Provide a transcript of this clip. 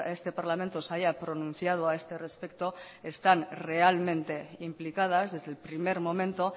este parlamento se haya pronunciado a este respecto están realmente implicadas desde el primer momento